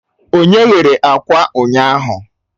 Onye ghere akwa ụnyaahụ?